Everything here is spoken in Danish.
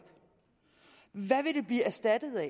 hvad vil det blive erstattet af